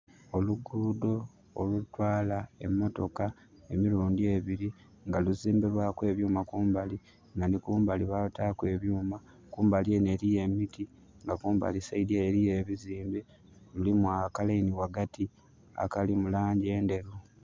Olugudho olutwaala emotoka emilundi ebili, nga luzimbe lwaku ebyuma kumbali, nga nhi kumbali balutaaku ebyuma. Kumbali enho eliyo emiti nga kumbali side ele eliyo ebizimbe. Mulimu a ka laini ghaghati akali mu langi endheru.